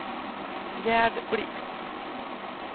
Gerd Blixt